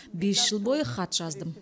бес жыл бойы хат жаздым